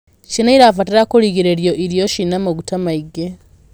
Ciana irabatara kugiriririo iro ciĩna maguta maĩ ngi